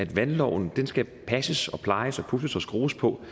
valgloven skal passes plejes og pudses og skrues på